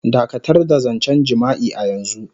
Dakatar da zancen jima'i a yanzu.